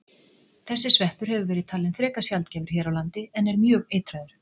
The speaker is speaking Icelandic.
Þessi sveppur hefur verið talinn frekar sjaldgæfur hér á landi en er mjög eitraður.